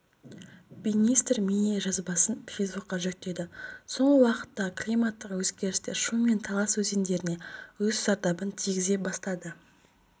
министр бейнежазбасын фейсбукқа жүктеді соңғы уақыттағы климаттық өзгерістер шу мен талас өзендеріне өз зардабын тигізе бастады